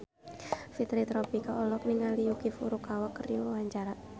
Fitri Tropika olohok ningali Yuki Furukawa keur diwawancara